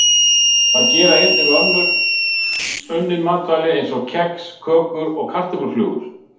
Það gera einnig önnur unnin matvæli eins og kex, kökur og kartöfluflögur.